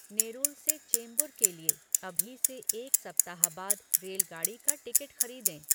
नेरुल से चेम्बूर के लिए अभी से एक सप्ताह बाद रेलगाड़ी का टिकट खरीदें